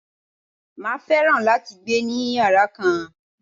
Màá fẹ́ràn láti gbé ni yàrá kan.